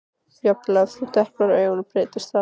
Jafnvel ef þú deplar auga breytist það.